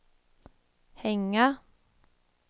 hänga